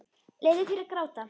Leyfðu þér að gráta.